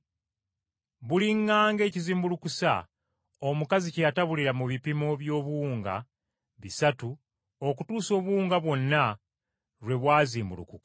Buliŋŋanga ekizimbulukusa omukazi kye yatabulira mu bipimo by’obuwunga bisatu okutuusa obuwunga bwonna lwe bwazimbulukuka.”